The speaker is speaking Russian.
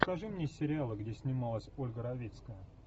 покажи мне сериалы где снималась ольга равицкая